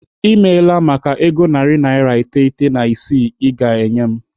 I meela maka ego narị naira iteghete na isii I ga-enye m.